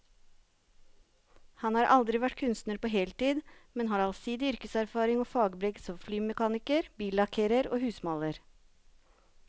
Han har aldri vært kunstner på heltid, men har allsidig yrkeserfaring og fagbrev som flymekaniker, billakkerer og husmaler.